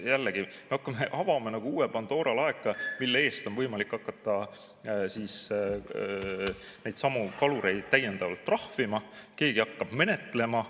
Jällegi, me avame nagu uue Pandora laeka, mille eest on võimalik hakata neidsamu kalureid täiendavalt trahvima ja keegi hakkab seda menetlema.